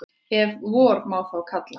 Ef vor má þá kalla.